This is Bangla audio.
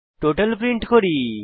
টোটাল প্রিন্ট করি